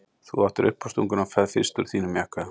Þú áttir uppástunguna og ferð fyrst úr þínum jakka.